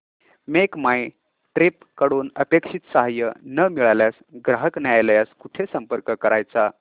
make my trip कडून अपेक्षित सहाय्य न मिळाल्यास ग्राहक न्यायालयास कुठे संपर्क करायचा